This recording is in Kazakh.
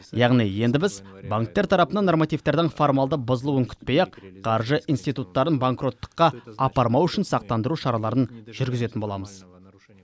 яғни енді біз банктер тарапынан нормативтердің формалды бұзылуын күтпей ақ қаржы инстиуттарын банкроттыққа апармау үшін сақтандыру шараларын жүргізетін боламыз